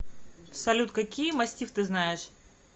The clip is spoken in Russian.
салют какие мастифф ты знаешь